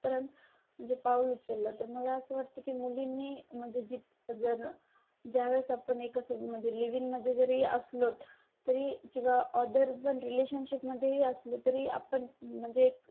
पर्यंत जे पाऊल उचललं तर मला असं वाटतं की मुलींनी म्हणजे जर ज्यात आपण एक असं म्हणजे लिव्हिंग मध्ये जरी असलं तरी किंवा अदर पण रिलेशनशिपमध्ये ही असलं तरी आपण म्हणजे